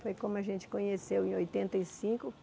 Foi como a gente conheceu em oitenta e cinco.